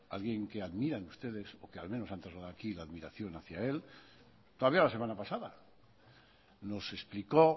alguien que admiran ustedes o que al menos han trasladado aquí la admiración hacia él todavía la semana pasada nos explicó